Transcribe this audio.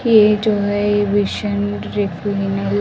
ये जो है ये विज़न --